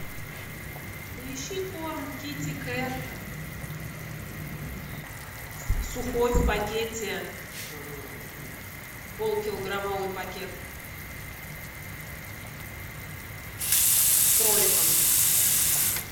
поищи корм китикет сухой в пакете полукилограммовый пакет с кроликом